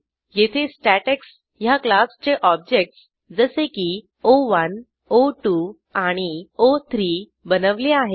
येथे स्टॅटेक्स ह्या क्लासचे ऑब्जेक्टस जसे की ओ1 ओ2 आणि ओ3 बनवले आहेत